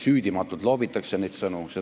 Süüdimatult loobitakse niisuguseid sõnu!